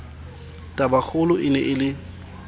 tabakgolo e ne e le